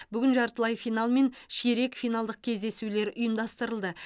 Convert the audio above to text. бүгін жартылай финал мен ширек финалдық кездесулер ұйымдастырылды